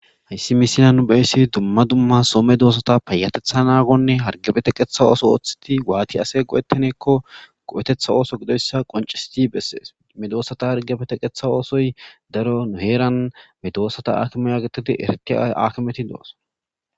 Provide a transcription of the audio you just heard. Ha misilan be'ishe dumma dumma soo medoosata payatetea naagonne hargeppe teqqeta ooso waati asay go'ettanakko go'ateta ooso qonccissidi bettees.medoosata hargepe teqqanawu daro nu heeran medoosata akimiya getetidi eretida akimeti de'ooson.